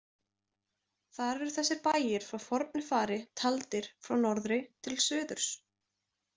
Þar eru þessir bæir frá fornu fari, taldir frá norðri til suðurs.